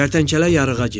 Kərtənkələ yarığa girdi.